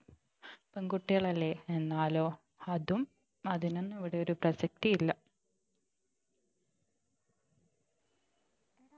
പെൺകുട്ടികളല്ലേ എന്നാലോ അതും അതിനൊന്നും ഇവിടൊരു പ്രസക്തി ഇല്ല